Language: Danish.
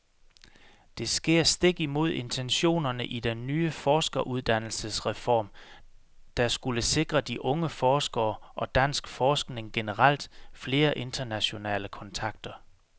Det sker stik imod intentionerne i den nye forskeruddannelsesreform, der skulle sikre de unge forskere, og dansk forskning generelt, flere internationale kontakter.